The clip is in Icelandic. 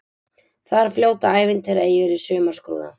Þar fljóta ævintýraeyjur í sumarskrúða.